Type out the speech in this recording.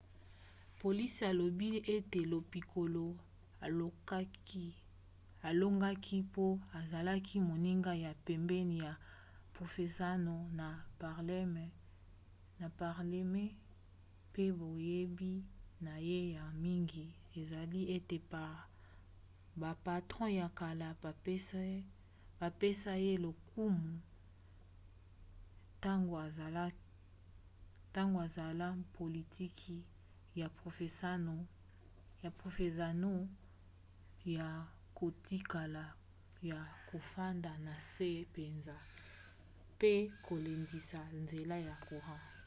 polisi elobi ete lo piccolo alongaki mpo azalaki moninga ya pembeni ya provenzano na palerme pe boyebi na ye ya mingi esali ete bapatron ya kala bapesa ye lokumu ntango azosala politiki ya provenzano ya kotikala ya kofanda na nse mpenza mpe kolendisa nzela ya courant